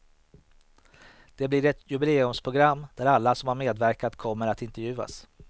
Det blir ett jubileumsprogram där alla som har medverkat kommer att intervjuas.